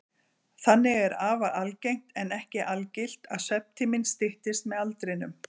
Þannig er afar algengt, en ekki algilt, að svefntíminn styttist með aldrinum.